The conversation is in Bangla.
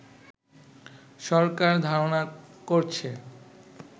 সরকার ধারণা করছে